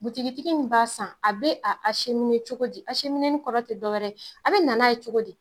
Butigitigi nin ba san a be a semini togodi asemineli kɔrɔ te dɔ wɛrɛ a be na togodi